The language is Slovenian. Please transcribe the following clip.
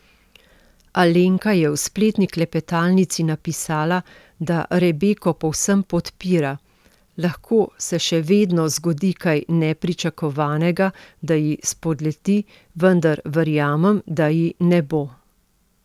Alenka je v spletni klepetalnici napisala, da Rebeko povsem podpira: 'Lahko se še vedno zgodi kaj nepričakovanega, da ji spodleti, vendar verjamem, da ji ne bo.